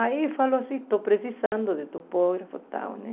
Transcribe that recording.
Aí falou assim, estou precisando de topógrafo e tal né.